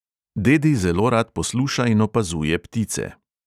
Dedi zelo rad posluša in opazuje ptice.